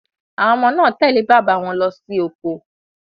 Àwọn ọmọ náà tẹ̀lé bàbá wọn lọsí oko.